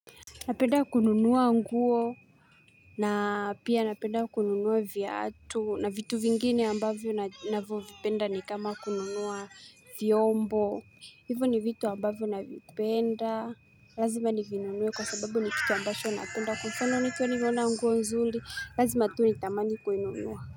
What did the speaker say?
Napenda kununua nguo na pia napenda kununua viatu na vitu vingine ambavyo navyo vipenda ni kama kununua vyombo. Hivo ni vitu ambavyo navipenda. Lazima nivinunue kwa sababu ni kitu ambacho napenda kwa mfano nikiona nguo nzuri. Lazima tu nitamani kui nunua.